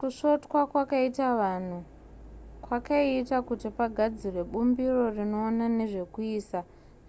kusvotwa kwakaitwa vanhu kwakaita kuti pagadzirwe bumbiro rinoona nezvekuisa